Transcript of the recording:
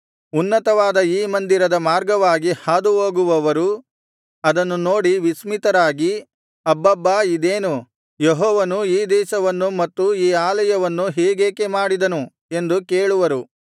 ಉನ್ನತವಾದ ಈ ಮಂದಿರದ ಮಾರ್ಗವಾಗಿ ಹಾದುಹೋಗುವವರು ಅದನ್ನು ನೋಡಿ ವಿಸ್ಮಿತರಾಗಿ ಅಬ್ಬಬ್ಬಾ ಇದೇನು ಯೆಹೋವನು ಈ ದೇಶವನ್ನು ಮತ್ತು ಈ ಆಲಯವನ್ನೂ ಹೀಗೇಕೆ ಮಾಡಿದನು ಎಂದು ಕೇಳುವರು